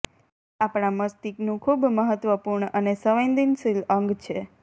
આ આપણા મસ્તિષ્કનું ખૂબ મહત્ત્વપૂર્ણ અને સંવેદનશીલ અંગ છે